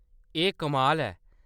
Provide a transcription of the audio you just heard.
एह्‌‌ कमाल ऐ !